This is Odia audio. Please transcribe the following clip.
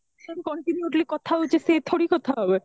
continuously କଥା ହଉଛେ ସେ ଥୋଡି କଥା ହେବେ